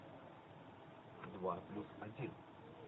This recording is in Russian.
два плюс один